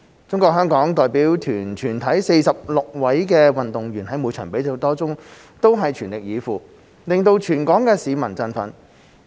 中國香港代表團全體46位運動員在每場比賽中全力以赴，令全港市民振奮。